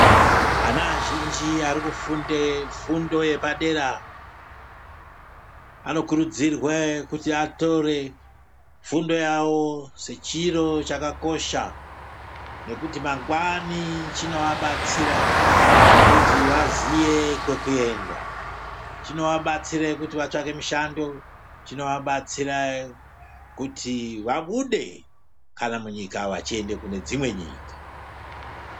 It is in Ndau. Ana azhinji arikufunde fundo yepadera anokurudzirwe kuti atore fundo yawo sechiro chakakosha nekuti mangwani chinoabatsira kuti vaziye kwekuenda chinoabatsira kuti vatsvake mishando chinoabatsira kuti vabude kana munyika vachienda kune dzimwe nyika .